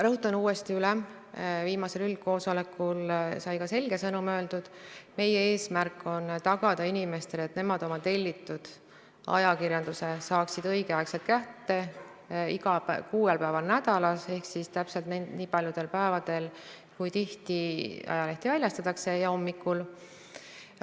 Rõhutan uuesti üle, ka viimasel üldkoosolekul sai selge sõnum öeldud, et meie eesmärk on tagada inimestele, et nemad saaksid tellitud ajakirjanduse kätte õigel ajal kuuel päeval nädalas ehk siis täpselt nii paljudel päevadel, kui tihti ajalehti välja antakse, ja juba hommikul.